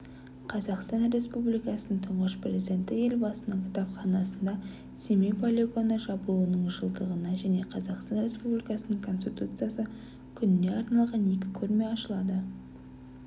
қазақстан республикасының тұңғыш президенті елбасының кітапханасында семей полигоны жабылуының жылдығына және қазақстан республикасының конституциясы күніне арналған екі көрме ашылады